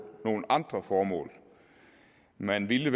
nogle andre formål man ville